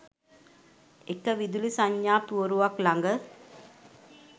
එක විදුලි සංඥා පුවරුවක් ළඟ